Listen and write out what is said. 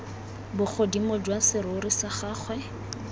bogodimo jwa serori sa gagwe